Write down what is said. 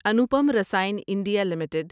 Anupam Rasayan India limited